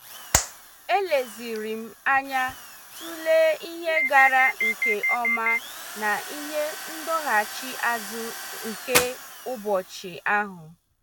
Elezirim anya tụlee ihe gara nke ọma na ihe ndọghachi azụ nke ụbọchị ahụ.